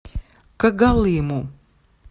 когалыму